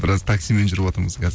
біраз таксимен жүріватырмыз қазір